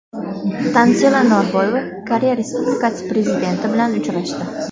Tanzila Norboyeva Koreya Respublikasi prezidenti bilan uchrashdi.